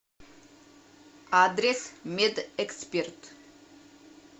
адрес медэксперт